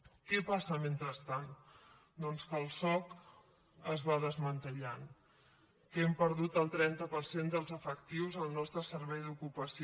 què passa mentrestant doncs que el soc es va desmantellant que hem perdut el trenta per cent dels efectius al nostre servei d’ocupació